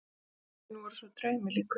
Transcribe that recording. Kvöldin voru svo draumi líkust.